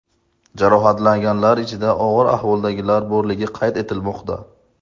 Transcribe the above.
Jarohatlanganlar ichida og‘ir ahvoldagilar borligi qayd etilmoqda.